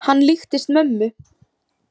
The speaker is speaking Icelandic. Hann líkist mömmu.